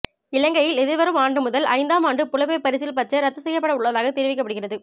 இலங்கையில் எதிர்வரும் ஆண்டு முதல் ஐந்தாம் ஆண்டு புலமைப் பரிசில் பரீட்சை ரத்து செய்யப்பட உள்ளதாகத் தெரிவிக்கப்படுகிறது